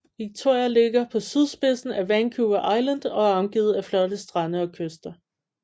Victoria ligger på sydspidsen af Vancouver Island og er omgivet af flotte strande og kyster